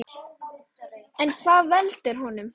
En hvað veldur honum?